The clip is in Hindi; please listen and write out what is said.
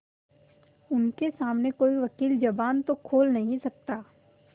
उनके सामने कोई वकील जबान तो खोल नहीं सकता